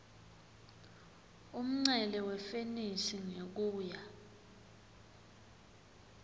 umncele wefenisi ngekuya